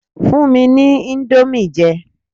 Fún mi ní indomie jẹ